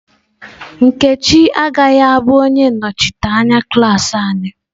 Nkechi agaghị abụ onye nnọchiteanya klas anyị.